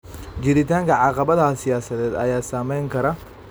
Jiritaanka caqabadaha siyaasadeed ayaa saameyn kara.